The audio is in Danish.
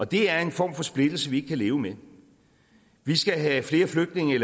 det er en form for splittelse vi ikke kan leve med vi skal have flere flygtninge